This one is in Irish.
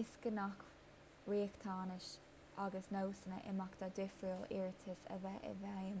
is gnách riachtanais agus nósanna imeachta difriúla iarratais a bheith i bhfeidhm